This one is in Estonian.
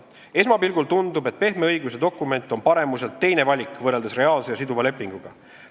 Esmapilgul tundub, et pehme õiguse dokument on paremuselt teine valik võrreldes reaalse ja siduva lepinguga.